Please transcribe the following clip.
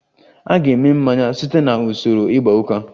A ga-eme mmanya site na usoro igba uka